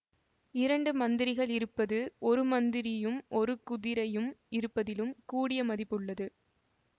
இரண்டு மந்திரிகள் இருப்பது ஒரு மந்திரியும் ஒரு குதிரையும் இருப்பதிலும் கூடிய மதிப்பு உள்ளது